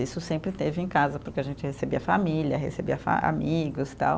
Isso sempre teve em casa, porque a gente recebia família, recebia fa, amigos, tal.